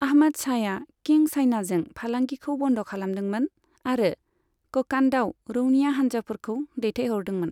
आहमद शाहया किं चाइनाजों फालांगिखौ बन्द खालामदोंमोन आरो ककान्डआव रौनिया हानजाफोरखौ दैथायहरदोंमोन।